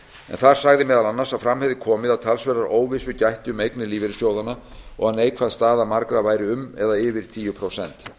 þar sagði meðal annars að fram hefði komið að talsverðrar óvissu gætti um eignir lífeyrissjóðanna og að neikvæð staða margra væri um eða yfir tíu prósent